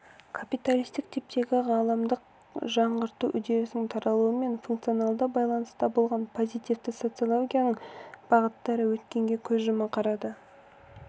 капиталистік типтегі ғаламдық жаңғырту үрдісінің таралуымен функционалды байланыста болған позитивті социологияның бағыттары өткенге көз жұма қарады